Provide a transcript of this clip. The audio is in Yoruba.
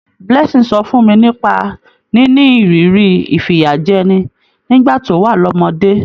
Blessing sọ fún mi nípa níní ìrírí ìfìyàjẹni nígbà tó wà lọ́mọdé.